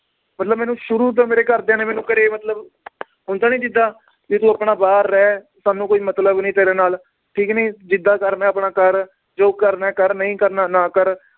ਮਤਲਬ ਮੈਨੂੰ ਸ਼ੁਰੂ ਤੋਂ ਮੇਰੇ ਘਰਦਿਆਂ ਨੇ ਮੈਨੂੰ ਘਰੇ ਮਤਲਬ ਹੁੰਦਾ ਨੀ ਜਿੱਦਾਂ ਵੀ ਤੂੰ ਆਪਣਾ ਬਾਹਰ ਰਹਿ ਸਾਨੂੰ ਕੋਈ ਮਤਲਬ ਨੀ ਤੇਰੇ ਨਾਲ ਠੀਕ ਨੀ ਜਿੱਦਾਂ ਕਰਨਾ ਏ ਆਪਣਾ ਕਰ ਜੋ ਕਰਨਾ ਏ ਕਰ ਨਈ ਕਰਨਾ ਨਾ ਕਰ